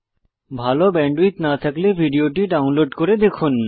ভাল ব্যান্ডউইডথ না থাকলে ভিডিওটি ডাউনলোড করে দেখুন